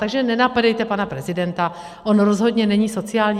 Takže nenapadejte pana prezidenta, on rozhodně není sociální (?).